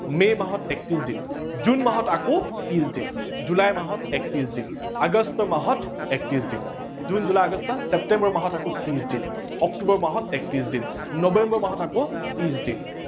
মে মাহত একত্ৰিশ দিন, জুন মাহত আকৌ ত্ৰিশ দিন, জুলাই মাহত একত্ৰিশ দিন, আগষ্ট মাহত একত্ৰিশ দিন জুন, জুলাই আগষ্ট ছেপ্তেম্বৰ মাহত আকৌ ত্ৰিশ দিন, অক্টোবৰ মাহত আকৌ একত্ৰিশ দিন, নৱেম্বৰ মাহত আকৌ ত্ৰিশ দিন